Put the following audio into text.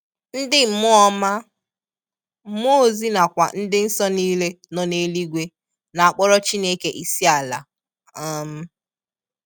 Ndi mmuọ ọma/mmuo ozi na kwa ndi nso nile no n'eluigwe na akporo Chineke isiala um